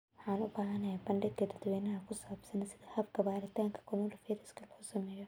Waxaan u baahanahay bandhig dadweyne oo ku saabsan sida habka baaritaanka coronavirus loo sameeyo.